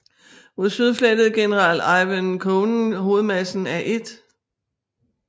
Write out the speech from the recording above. Mod syd flyttede general Ivan Konev hovedmassen af 1